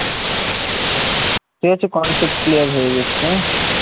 ঠিক আছে concept clear হয়ে গেছে